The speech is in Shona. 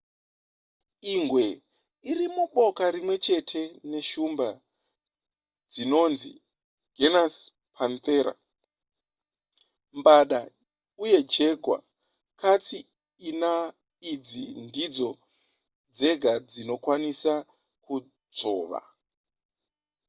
ingwe iri muboka rimwe chete neshumba dzinonzi genus panthera mbada uye jaguar. katsi ina idzi ndidzo dzega dzinokwanisa kudzvova